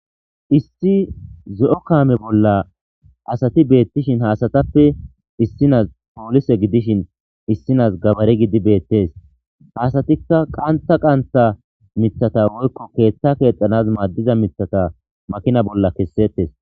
1 zo'o kame bolla asat betishn ha asatappe issinas polise gidishn issinas gabare gidid betes . Ha asatika qantha qantha mithata woykko ketha kexanas madiza mithata makina bolla kesetes.